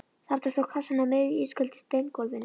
Þarna stóð kassinn á miðju ísköldu steingólfinu.